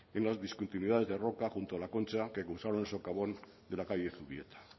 en unas discontinuidades de roca junto a la concha que cruzaron el socavón de la calle zubieta